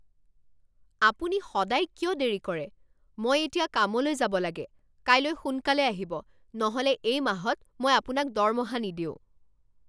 আপুনি সদায় কিয় দেৰি কৰে? মই এতিয়া কামলৈ যাব লাগে! কাইলৈ সোনকালে আহিব নহ'লে এই মাহত মই আপোনাক দৰমহা নিদিওঁ।